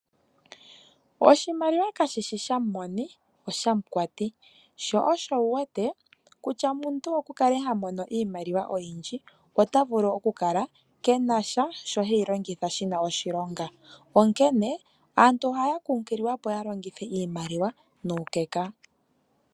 Oshimaliwa kashishi shamoni, osha mukwati. Sho osho wu wete, kutya nande omuntu oku kale hamono iimaliwa oyindji, ota vulu oku kala keena sho he yi longitha shina oshilonga. Aantu oha ya kunkililwa opo yalongithe iimaliwa nuukeka.